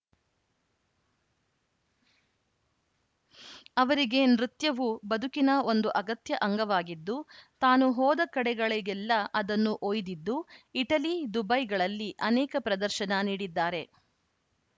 ಅವರಿಗೆ ನೃತ್ಯವು ಬದುಕಿನ ಒಂದು ಅಗತ್ಯ ಅಂಗವಾಗಿದ್ದು ತಾನು ಹೋದಕಡೆಗಳಿಗೆಲ್ಲಾ ಅದನ್ನು ಒಯ್ದಿದ್ದು ಇಟಲಿ ದುಬೈಗಳಲ್ಲಿ ಅನೇಕ ಪ್ರದರ್ಶನ ನೀಡಿದ್ದಾರೆ